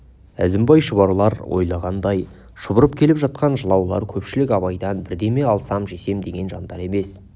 әзімбай шұбарлар ойлағандай шұбырып келіп жатқан жылаулар көпшілік абайдан бірдеме алсам жесем деген жандар емес